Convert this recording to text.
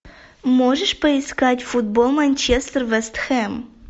можешь поискать футбол манчестер вест хэм